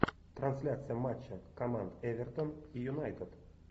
трансляция матча команд эвертон и юнайтед